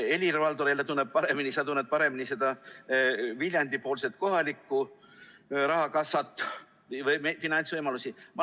Helir-Valdor, sa tunned paremini seda Viljandi kohalikku rahakassat, finantsvõimalusi.